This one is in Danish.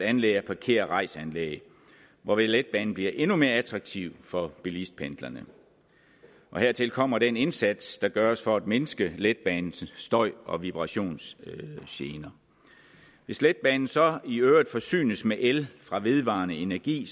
anlæg af parkér og rejs anlæg hvorved letbanen bliver endnu mere attraktiv for bilistpendlerne hertil kommer den indsats der gøres for at mindske letbanens støj og vibrationsgener hvis letbanen så i øvrigt forsynes med el fra vedvarende energi